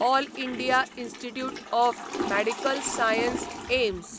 all India institute of medical science AIIMS